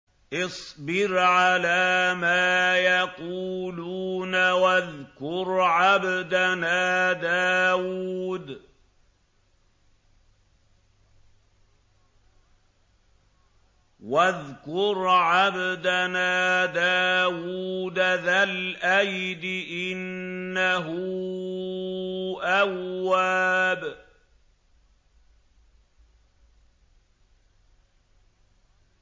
اصْبِرْ عَلَىٰ مَا يَقُولُونَ وَاذْكُرْ عَبْدَنَا دَاوُودَ ذَا الْأَيْدِ ۖ إِنَّهُ أَوَّابٌ